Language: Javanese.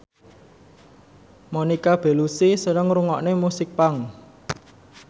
Monica Belluci seneng ngrungokne musik punk